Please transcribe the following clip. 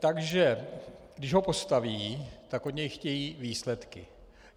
Takže když ho postaví, tak od něj chtějí výsledky.